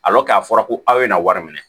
a fɔra ko aw ye na wari minɛ